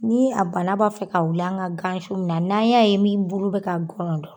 Ni a bana b'a fɛ ka wuli an ka gansi mun na n'an y'a ye min bulu bɛ ka gɔlɔn dɔ